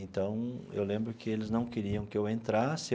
Então, eu lembro que eles não queriam que eu entrasse.